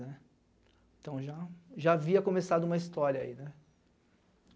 né. Então já jáhavia começado uma história aí, né?